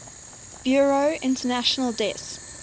bureau international des